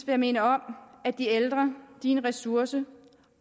jeg minde om at de ældre er en ressource